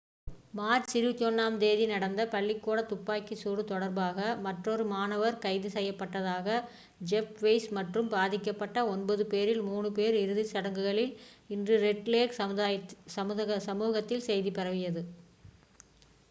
March 21-ஆம் தேதி நடந்த பள்ளிக்கூடத் துப்பாக்கிச் சூடு தொடர்பாக மற்றொரு மாணவர் கைது செய்யப்பட்டதாக ஜெஃப் வெயிஸ் மற்றும் பாதிக்கப்பட்ட ஒன்பது பேரில் 3 பேர் இறுதிச் சடங்குகளில் இன்று ரெட் லேக் சமூகத்தில் செய்தி பரவியது